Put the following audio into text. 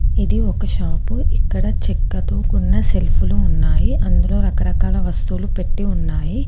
ఇది ఒక షాపు . ఇక్కడ చెక్కతో కూడిన సెల్ఫులు ఉన్నాయి. అందులో రకరకాల వస్తువులు పెట్టి ఉన్నాయి.